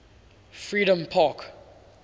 freedompark